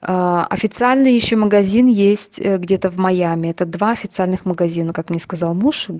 аа официальный ещё магазин есть где-то в майами это два официальных магазинов как мне сказал муж